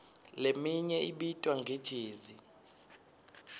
leminye ibitwa nge jezi